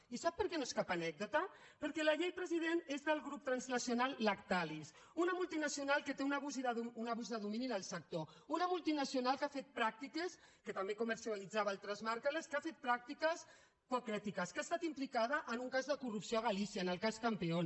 i sap per què no és cap anècdota perquè la llet président és del grup transnacional lac·talis una multinacional que té un abús de domini en el sector una multinacional que ha fet pràctiques que també comercialitzava altres marques poc ètiques que ha estat implicada en un cas de corrupció a galí·cia en el cas campeón